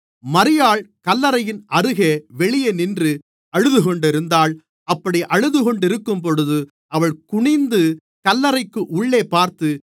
மரியாள் கல்லறையின் அருகே வெளியே நின்று அழுதுகொண்டிருந்தாள் அப்படி அழுதுகொண்டிருக்கும்போது அவள் குனிந்து கல்லறைக்கு உள்ளே பார்த்து